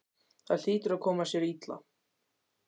Það hlýtur að koma sér illa.